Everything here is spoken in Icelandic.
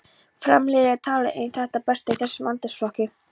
Fram-liðið er talið eitt það besta í þessum aldursflokki.